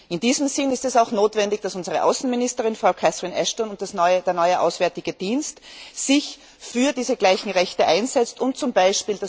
In diesem Sinn ist es auch notwendig, dass unsere Außenministerin, Frau Catherine Ashton, und der neue auswärtige Dienst sich für diese gleichen Rechte einsetzen, um z. B.